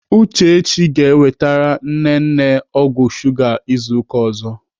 Uchechi ga-ewetere nne nne ọgwụ shuga izu ụka ọzọ.